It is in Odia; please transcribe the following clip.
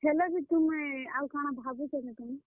ହେଲେ ବି ତୁମେ ଆଉ କାଣା ଭାବୁଛ କେଁ ତୁମେ?